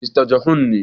Mista Johun ne